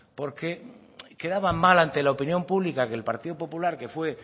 porque quedaba mal ante la opinión pública que el partido popular que fue